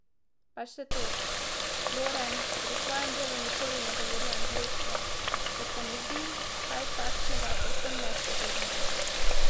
Pa še to, Floren pri svojem delu nikoli ne govori angleško, ker se mu zdi kaj takšnega povsem nespodobno.